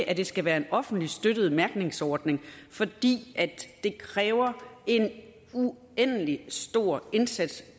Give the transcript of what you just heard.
at det skal være en offentligt støttet mærkningsordning fordi det kræver en uendelig stor indsats